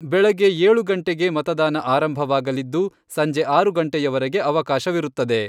ಬೆಳಗ್ಗೆ ಏಳು ಗಂಟೆಗೆ ಮತದಾನ ಆರಂಭವಾಗಲಿದ್ದು, ಸಂಜೆ ಆರು ಗಂಟೆಯವರೆಗೆ ಅವಕಾಶವಿರುತ್ತದೆ.